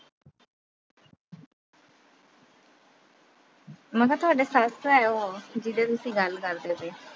ਮੈਂ ਕਿਹਾ ਤੁਹਾਡੀ ਸੱਸ ਆ ਉਹ, ਜਿਦਾਂ ਤੁਸੀਂ ਗੱਲ ਕਰਦੇ ਪਏ ਓ।